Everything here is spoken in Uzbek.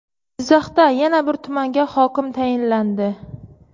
Jizzaxda yana bir tumanga hokim tayinlandi.